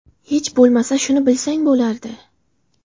Hech bo‘lmasa shuni bilsang bo‘lardi!